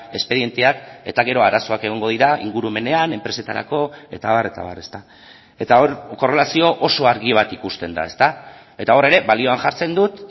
espedienteak eta gero arazoak egongo dira ingurumenean enpresetarako eta abar eta abar eta hor korrelazio oso argi bat ikusten da eta hor ere balioan jartzen dut